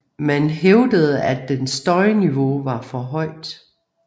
Man hævdede at dens støjniveau var for højt